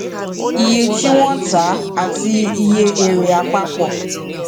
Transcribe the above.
iye tí wọn ń tá àti iye èrè àpapọ